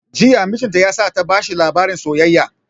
Jiya mijin ta ya sa ta bashi labarin soyayya